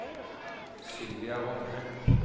Sylvia Rogne